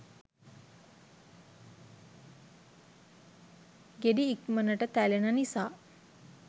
ගෙඩි ඉක්මනට තැලෙන නිසා